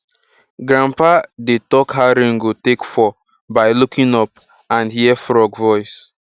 grandpa dey talk how rain go take fall by looking up and hear frog voice